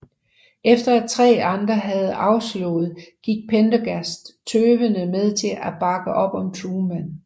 Efter at tre andre havde afslået gik Pendergast tøvende med til at bakke op om Truman